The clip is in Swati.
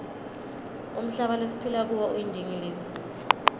umhlaba lesiphila kuwo uyindingilizi